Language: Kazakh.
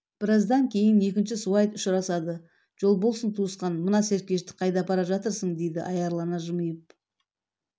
біраздан кейін екінші суайт ұшырасады жол болсын тусықан мына серкешті қайда апара жатырсың дейді аярлана жымиып